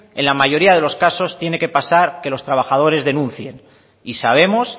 en la mayoría de los casos tiene que pasar que los trabajadores denuncien y sabemos